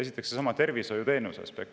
Esiteks seesama tervishoiuteenuse aspekt.